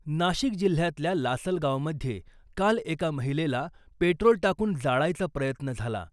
नाशिक जिल्ह्यातल्या लासलगावमध्ये काल एका महिलेला पेट्रोल टाकून जाळायचा प्रयत्न झाला .